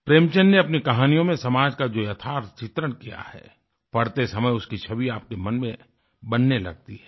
प्रेमचंद ने अपनी कहानियों में समाज का जो यथार्थ चित्रण किया है पढ़ते समय उसकी छवि आपके मन में बनने लगती है